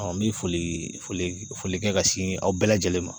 n bɛ foli foli foli kɛ ka sin aw bɛɛ lajɛlen ma